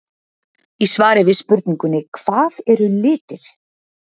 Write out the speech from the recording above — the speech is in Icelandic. Í svari við spurningunni Hvað eru litir?